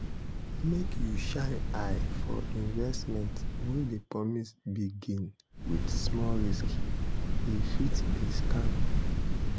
make you shine eye for investment wey dey promise big gain with small risk e fit be scam.